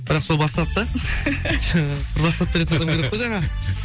бірақ сол бастады да бір бастап беретін адам керек қой жаңа